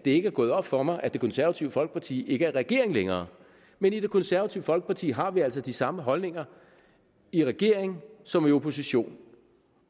det ikke er gået op for mig at det konservative folkeparti ikke er i regering længere men i det konservative folkeparti har vi altså de samme holdninger i regering som i opposition